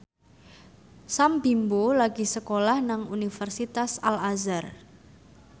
Sam Bimbo lagi sekolah nang Universitas Al Azhar